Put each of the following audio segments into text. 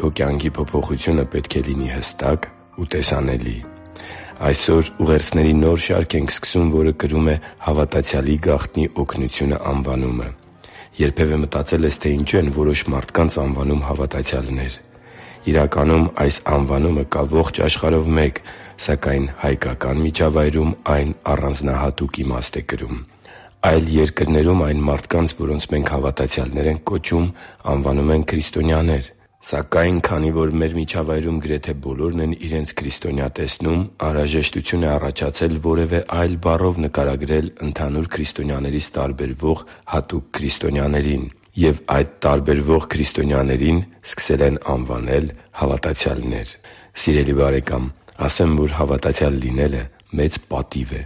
Քո կյանքի փոփոխությունը պետք է հստակ ու տեսանելի լինի Այսօր ուղերձների նոր շարք ենք սկսում, որը կրում է «Հավատացյալի գաղտնի օգնությունը» անվանումը։ Երբևէ մտածե՞լ ես, թե ինչու են որոշ մարդկանց անվանում հավատացյալներ։ Իրականում, այս անվանումը կա ողջ աշխարհով մեկ, սակայն հայկական միջավայրում այն առանձնահատուկ իմաստ է կրում։ Այլ երկրներում այն մարդկանց, որոնց մենք հավատացյալներ ենք կոչում, անվանում են քրիստոնյաներ։ Սակայն, քանի որ մեր միջավայրում գրեթե բոլորն են իրենց քրիստոնյա տեսնում, անհրաժեշտություն է առաջացել որևէ այլ բառով նկարագրել ընդհանուր քրիստոնյաներից տարբերվող հատուկ քրիստոնյաներին։ Եվ այդ տարբերվող քրիստոնյաներին սկսել են անվանել հավատացյալներ։ Սիրելի՛ բարեկամ, ասեմ, որ հավատացյալ լինելը մեծ պատիվ է։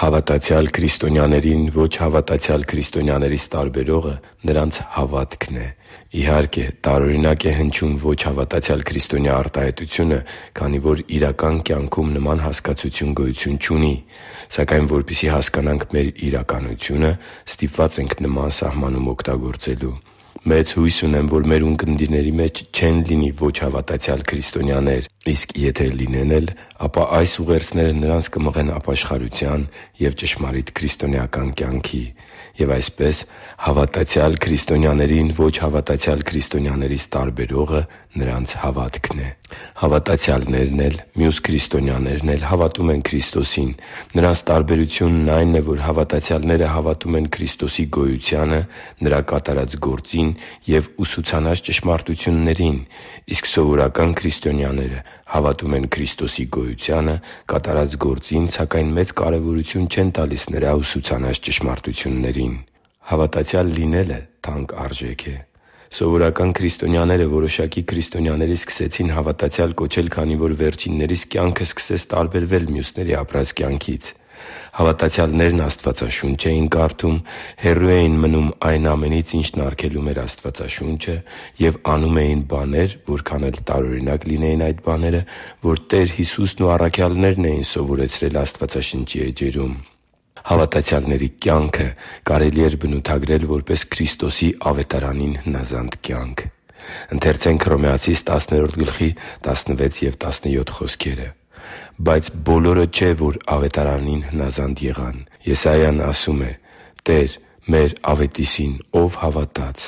Հավատացյալ քրիստոնյաներին ոչ հավատացյալ քրիստոնյաներից տարբերողը նրանց հավատքն է։ Իհարկե, տարօրինակ է հնչում «ոչ հավատացյալ քրիստոնյա» արտահայտությունը, քանի որ իրական կյանքում նման հասկացություն գոյություն չունի, սակայն, որպեսզի հասկանանք մեր իրականությունը, ստիպված ենք նման սահմանում օգտագործելու։ Մեծ հույս ունեմ, որ մեր ունկնդիրների մեջ չեն լինի ոչ հավատացյալ քրիստոնյաներ, իսկ եթե լինեն էլ, ապա այս ուղերձները նրանց կմղեն ապաշխարության և ճշմարիտ քրիստոնեական կյանքի։ Եվ այսպես, հավատացյալ քրիստոնյաներին ոչ հավատացյալ քրիստոնյաներից տարբերողը նրանց հավատքն է։ Հավատացյալներն էլ, մյուս քրիստոնյաներն էլ հավատում են Քրիստոսին։ Նրանց տարբերությունն այն է, որ հավատացյալները հավատում են Քրիստոսի գոյությանը, Նրա կատարած գործին և ուսուցանած ճշմարտություններին, իսկ սովորական քրիստոնյաները հավատում են Քրիստոսի գոյությանը, կատարած գործին, սակայն մեծ կարևորություն չեն տալիս Նրա ուսուցանած ճշմարտություններին։ Հավատացյալ լինելը թանկ արժեք է։ Սովորական քրիստոնյաները որոշակի քրիստոնյաների սկսեցին հավատացյալ կոչել, քանի որ վերջիններիս կյանքը սկսեց տարբերվել մյուսների ապրած կյանքից։ Հավատացյալներն Աստվածաշունչ էին կարդում, հեռու էին մնում այն ամենից, ինչն արգելում էր Աստվածաշունչը, և անում էին բաներ, որքան էլ տարօրինակ լինեին այդ բաները, որ Տեր Հիսուսն ու առաքյալներին էին սովորեցրել Աստվածաշնչի էջերում։ Հավատացյալների կյանքը կարելի էր բնութագրել որպես Քրիստոսի Ավետարանին հնազանդ կյանք։ «Բայց բոլորը չէ, որ Ավետարանին հնազանդ եղան։ Եսային ասում է. «Տե՛ր, մեր ավետիսին ո՞վ հավատաց»։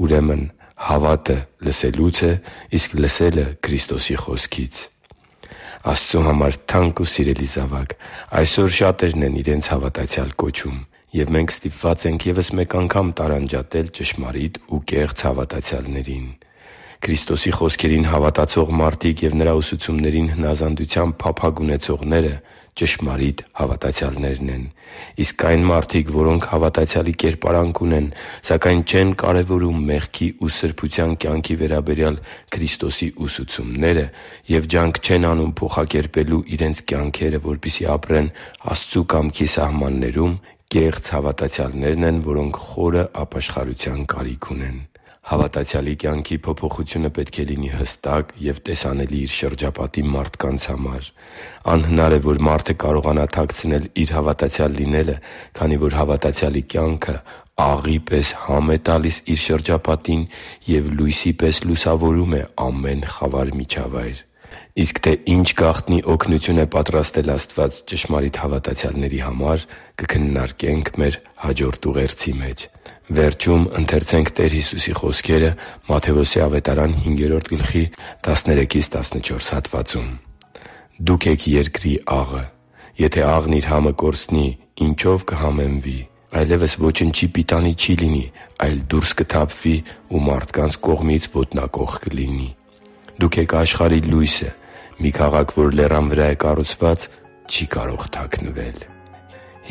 Ուրեմն հավատը լսելուց է, իսկ լսելը՝ Քրիստոսի խոսքից» (Հռոմեացիս 10.16-17): Աստծու համար թանկ ու սիրելի՛ զավակ, այսօր շատերն են իրենց հավատացյալ կոչում։ Եվ մենք ստիպված ենք ևս մեկ անգամ տարանջատել ճշմարիտ ու կեղծ հավատացյալներին։ Քրիստոսի խոսքերին հավատացող մարդիկ և Նրա ուսուցումներին հնազանդության փափագ ունեցողները ճշմարիտ հավատացյալներն են։ Իսկ այն մարդիկ, որոնք հավատացյալի կերպարանք ունեն, սակայն չեն կարևորում մեղքի ու սրբության կյանքի վերաբերյալ Քրիստոսի ուսուցումները և ջանք չեն անում փոխակերպելու իրենց կյանքերը, որպեսզի ապրեն Աստծու կամքի սահմաններում, կեղծ հավատացյալներն են, որոնք խորը ապաշխարության կարիք ունեն։ Հավատացյալի կյանքի փոփոխությունը պետք է լինի հստակ և տեսանելի իր շրջապատի մարդկանց համար։ Անհնար է, որ մարդը կարողանա թաքցնել իր հավատացյալ լինելը, քանի որ հավատացյալի կյանքը աղի պես համ է տալիս իր շրջապատին և լույսի պես լուսավորում է ամեն խավար միջավայր։ Իսկ թե ինչ գաղտնի օգնություն է պատրաստել Աստված ճշմարիտ հավատացյալների համար, կքննարկենք մեր հաջորդ ուղերձի մեջ։ «Դուք եք երկրի աղը. եթե աղն իր համը կորցնի, ինչո՞վ կհամեմվի. այլևս ոչնչի պիտանի չի լինի, այլ դուրս կթափվի ու մարդկանց կողմից ոտնակոխ կլինի։ Դուք եք աշխարհի լույսը։ Մի քաղաք, որ լեռան վրա է կառուցված, չի կարող թաքնվել»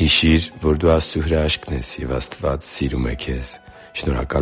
(Մատթեոս 5․13-14): Հիշի՛ր, որ դու Աստծո հրաշքն ես, և Աստված սիրում է քեզ։ Շնորհակալ